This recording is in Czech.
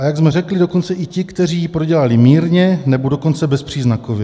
"A jak jsme řekli, dokonce i ti, kteří ji prodělali mírně, nebo dokonce bezpříznakově."